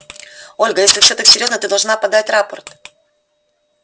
ольга если всё так серьёзно ты должна подать рапорт